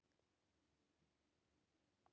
Kristján Már: En getið þið eitthvað gert?